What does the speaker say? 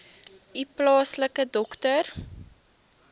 u plaaslike dokter